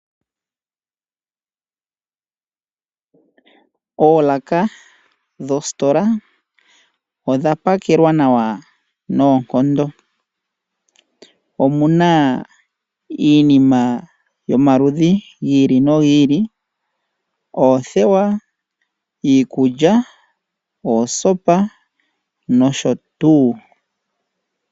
Oolaka dhositola odha pakelwa nawa noonkondo. Omuna iinima oyindji yomaludhi gi ili nogi ili oothewa, iikulya, oosopa nosho tuu.